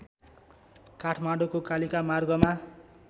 काठमाडौँको कालिका मार्गमा